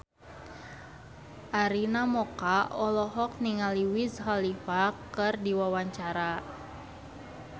Arina Mocca olohok ningali Wiz Khalifa keur diwawancara